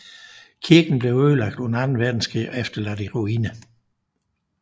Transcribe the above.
Kirken blev ødelagt under Anden Verdenskrig og efterladt i ruiner